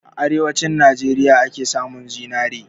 A arewanci Najeriya ake samun zinari